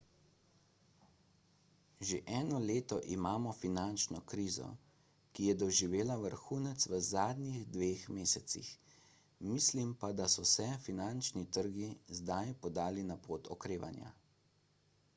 že eno leto imamo finančno krizo ki je doživela vrhunec v zadnjih dveh mesecih mislim pa da so se finančni trgi zdaj podali na pot okrevanja